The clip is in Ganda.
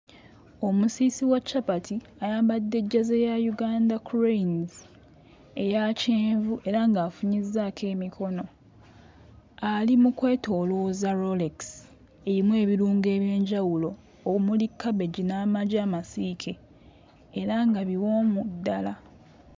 Omusiisi wa capati ayambadde jjaze ya Uganda Cranes eya kyenvu era ng'afunyizzaako emikono ali mu kwetoolooza rolex emu ebirungo eby'enjawulo omuli cabbage n'amagi amasiike era nga biwoomu ddala.